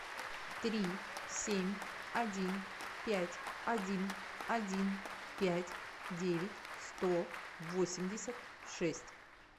три семь один пять один один пять девять сто восемьдесят шесть